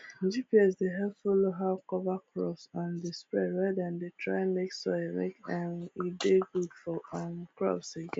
gps dey help follow how cover crop um dey spread when dem dey try make soil make um e dey good for um crops again